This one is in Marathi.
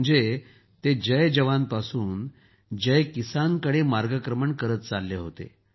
म्हणजे ते जय जवानपासून जय किसान कडे मार्गक्रमण करत चालले होते